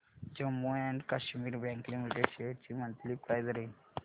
Jammu and Kashmir bank limited shares ची monthly price range